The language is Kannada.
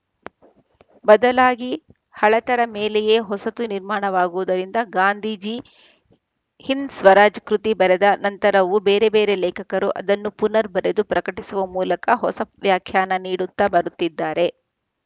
ಬದಲಾಗಿ ಹಳತರ ಮೇಲೆಯೆ ಹೊಸತು ನಿರ್ಮಾಣವಾಗುವುದರಿಂದ ಗಾಂಧೀಜಿ ಹಿಂದ್‌ ಸ್ವರಾಜ್‌ ಕೃತಿ ಬರೆದ ನಂತರವೂ ಬೇರೆಬೇರೆ ಲೇಖಕರು ಅದನ್ನು ಪುನರ್‌ ಬರೆದು ಪ್ರಕಟಿಸುವ ಮೂಲಕ ಹೊಸ ವ್ಯಾಖ್ಯಾನ ನೀಡುತ್ತಾ ಬರುತ್ತಿದ್ದಾರೆ